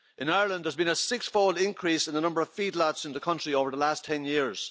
In Ireland, there has been a six-fold increase in the number of feedlots in the country over the last ten years.